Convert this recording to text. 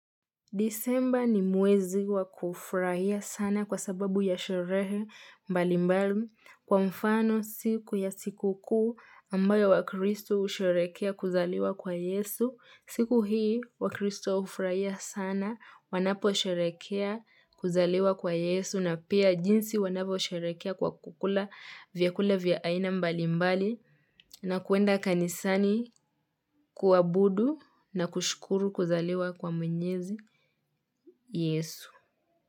Disemba ni mwezi wa kufurahia sana kwa sababu ya sherehe mbali mbali kwa mfano siku ya sikukuu ambayo wa kristo husherekea kuzaliwa kwa yesu. Siku hii wa kristo husherehekea kuzaliwa kwa yesu na pia jinsi wanavyosherehekea kwa kukula vyakula vya aina mbali mbali na kuenda kanisani kuabudu na kushukuru kuzaliwa kwa mwenyezi Yesu.